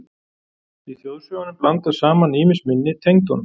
Í þjóðsögunum blandast saman ýmis minni tengd honum.